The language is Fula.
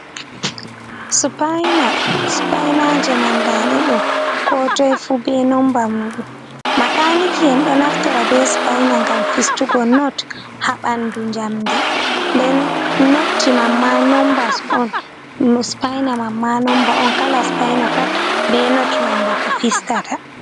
Supaina, supainaje man nda ɗeɗo kotoi fu be nomba muɗum makaniki en ɗo naftora be supaina ngam fistugo not haɓandu jamdi, nden notji mamma nombas on, supaina mamma nomba on, kala supaina pat be not nomba ko fistata.